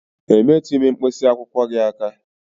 E metụghị m mkpịsị akwụkwọ gị aka